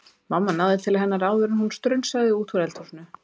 Mamma náði til hennar áður en hún strunsaði út úr eldhúsinu